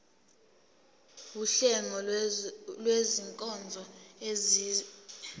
wuhlengo lwezinkonzo ezenziwa